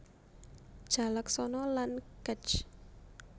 Jalaksana lan Kec